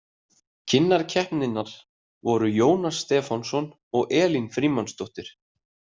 Kynnar keppninnar voru Jónas Stefánsson og Elín Frímannsdóttir.